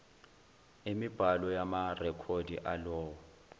emibhalo yamarekhodi alowo